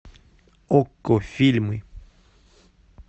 окко фильмы